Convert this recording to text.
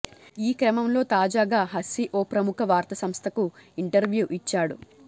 ఈ క్రమంలో తాజాగా హస్సీ ఓ ప్రముఖ వార్తాసంస్థకు ఇంటర్య్వూ ఇచ్చాడు